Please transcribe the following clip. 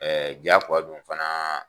jaakoya don fana